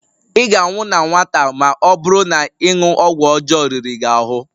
Ị ga-anwụ na nwata ma ọ bụrụ na ịṅụ ọgwụ ọjọọ riri gị ahụ